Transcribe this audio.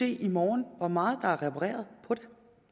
i morgen men